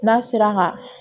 N'a sera ka